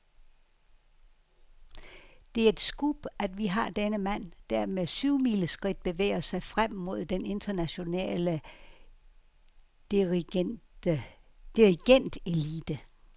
Det er et scoop, at vi har denne mand, der med syvmileskridt bevæger sig frem mod den internationale dirigentelite.